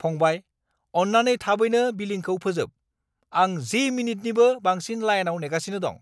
फंबाय, अन्नानै थाबैनो बिलिंखौ फोजोब! आं 10 मिनिटनिबो बांसिन लाइनआव नेगासिनो दं।